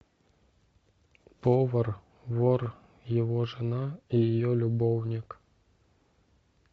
повар вор его жена и ее любовник